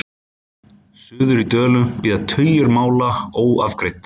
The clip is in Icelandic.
Suður í Dölum bíða tugir mála óafgreidd.